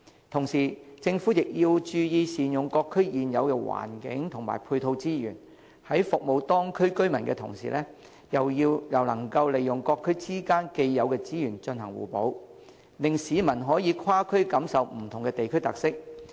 同時，政府亦要注意善用各區現有環境及配套資源，在服務當區居民之餘，又能夠利用各區之間的既有資源進行互補，令市民可以跨區感受不同的地區特色。